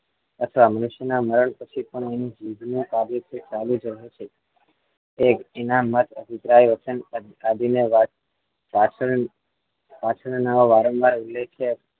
અથવા મનુષ્ય ના મરણ પછી પણ એન જીભ ની સાબિતી ચાલુ જ હોય જ છે એના મત અભિપ્રાય વચન આદિ ને પાછ પાછળ ના વારંવાર ઉલેખીય